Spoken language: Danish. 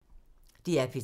DR P3